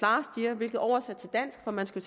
year hvilket oversat til dansk for man skal